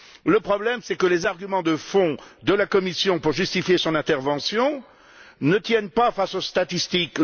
Le problème, c'est que les arguments de fond de la Commission pour justifier son intervention ne tiennent pas face aux statistiques.